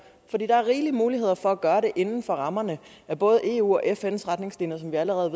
fordi der er rige muligheder for at gøre det inden for rammerne af både eus og fns retningslinjer som vi allerede